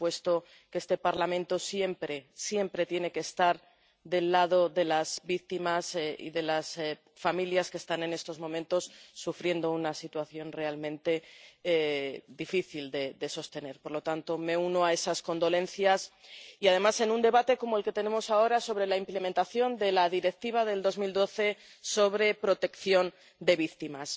Por supuesto, este Parlamento siempre, siempre tiene que estar del lado de las víctimas y de las familias que están en estos momentos sufriendo una situación realmente difícil de sostener. Por lo tanto, me uno a esas condolencias, y además en un debate como el que tenemos ahora sobre la implementación de la Directiva de 2012 sobre la protección de las víctimas.